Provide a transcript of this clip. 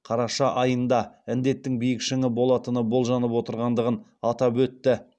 қараша айында індеттің биік шыңы болатыны болжанып отырғандығын атап өтті